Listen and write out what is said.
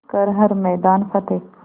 कर हर मैदान फ़तेह